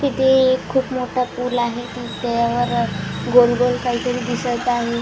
इथे एक खूप मोठा पूल आहे त्यावर गोल गोल काहीतरी दिसत आहे.